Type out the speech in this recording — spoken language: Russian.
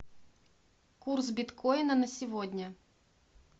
курс биткоина на сегодня